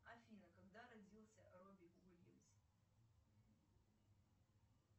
афина когда родился робби уильямс